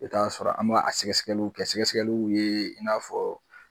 I bi taa a sɔrɔ an m'a a sɛgɛsɛgɛli kɛ sɛgɛsɛgɛliw ye i n'a fɔ